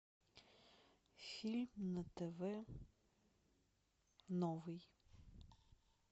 фильм на тв новый